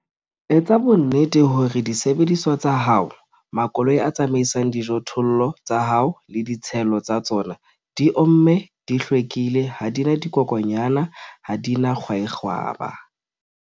Etsa bonnete hore disebediswa tsa hao, makoloi a tsamaisang dijothollo tsa hao, le ditshelo tsa tsona, di omme, di hlwekile, ha di na dikokwanyana, ha di na kwaekgwaba.